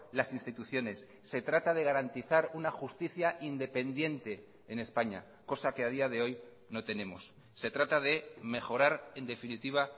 las instituciones se trata de garantizar una justicia independiente en españa cosa que a día de hoy no tenemos se trata de mejorar en definitiva